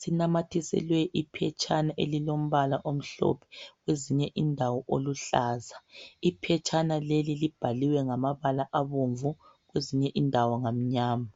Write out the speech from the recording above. sinamathiselwe iphetshana elilombala omhlophe kwezinye indawo oluhlaza iphetshana leli libhaliwe ngamabala abomvu kwezinye indawo ngamnyama